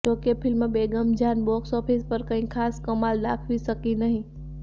જો કે film Begum Jaan box office પર ખાસ કંઇ કમાલ દાખવી શકી નહીં